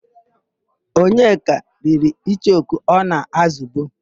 Onyeka riri icheoku ọ na-ázụ̀bu.